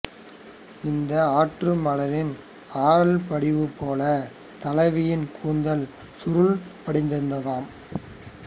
இந்த ஆற்றுமணலின் அறல் படிவு போல் தலைவியின் கூந்தல் சுருள் படிந்திருந்ததாம்